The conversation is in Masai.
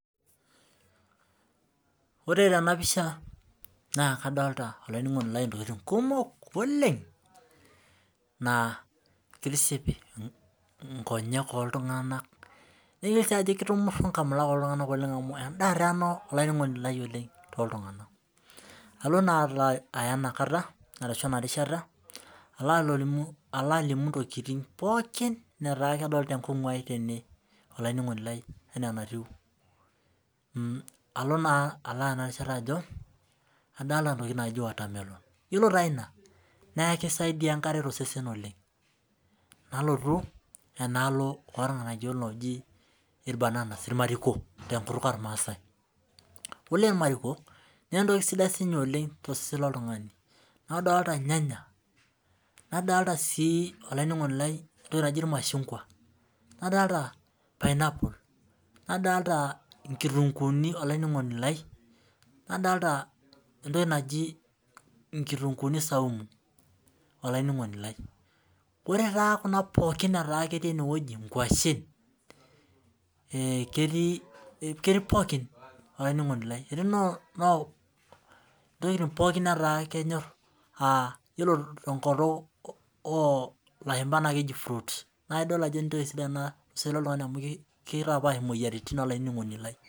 Ore Tena pisha naa kadolita ntokitin kumok oleng naa kitiship enkonyek oltung'ana naa kitumuru nkamulak oltung'ani amu endaa doi ena too oltung'ana adolita entoki najii watermelon ore taa ena naa keisaidia enkare too sesen oleng banana ore kulo naa kisidain oleng too sesen loo oltung'ani nadolita irnganya nadolita sii irmashungwa nadolita pineapple nadolita nkitunguni nadolita kitunguu zaumu ore taa Kuna pookin netaa ketii enewueji nkwashen ketii pookin etii ntokitin pookin netaa kenyor ore tenkutuk oo lashumba naa keji fruits naa edol Ajo entoki sidai too sesen loo Oltau amu kitapash moyiaritin